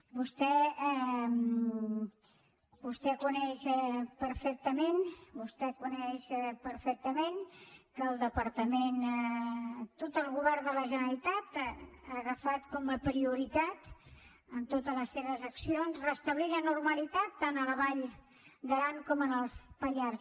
vostè coneix perfectament vostè ho coneix perfectament que el departament tot el govern de la generalitat ha agafat com a prioritat en totes les seves accions restablir la normalitat tant a la vall d’aran com als pallars